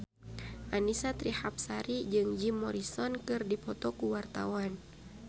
Annisa Trihapsari jeung Jim Morrison keur dipoto ku wartawan